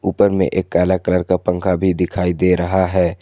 उपर में एक काला कलर का पंखा भी दिखाई दे रहा है।